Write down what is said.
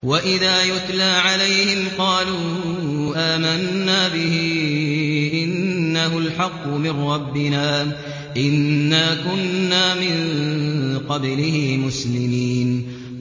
وَإِذَا يُتْلَىٰ عَلَيْهِمْ قَالُوا آمَنَّا بِهِ إِنَّهُ الْحَقُّ مِن رَّبِّنَا إِنَّا كُنَّا مِن قَبْلِهِ مُسْلِمِينَ